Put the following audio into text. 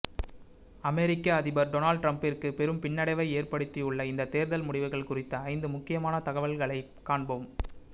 அமெரிக்க அதிபர் டொனால்டு டிரம்பிற்கு பெரும் பின்னடைவை ஏற்படுத்தியுள்ள இந்த தேர்தல் முடிவுகள் குறித்த ஐந்து முக்கியமான தகவல்களை காண்போம்